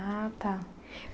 Ah, tá.